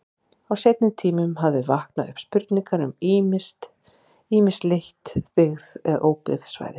Á seinni tímum hafa vaknað upp spurningar um ýmis lítt byggð eða óbyggð svæði.